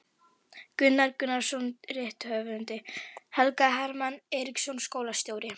Gunnar Gunnarsson rithöfundur, Helgi Hermann Eiríksson skólastjóri